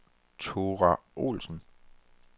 Thora Olsen